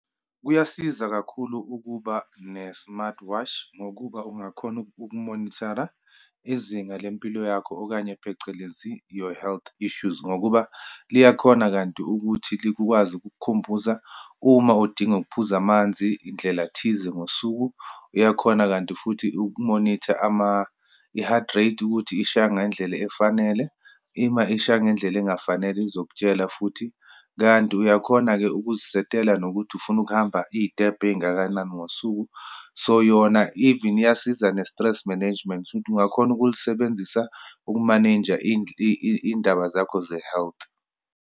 Kuyasiza kakhulu ukuba ne-smart watch, ngokuba ungakhona uku-moniter-a izinga lempilo yakho, okanye phecelezi your health issues, ngokuba liyakhona kanti ukuthi likukwazi ukukukhumbuza uma udinga ukuphuza amanzi indlela thize ngosuku, iyakhona kanti futhi uku-moniter i-heart rate, ukuthi ishaya ngendlela efanele, ima ishaya ngendlela engafanele, izokutshela futhi. Kanti uyakhona-ke ukuzisetela nokuthi ufuna ukuhamba iyitebhu eyingakanani ngosuku. So, yona even iyasiza ne-stress management. Ungakhona ukulisebenzisa uku-manage-a iyindaba zakho ze-health.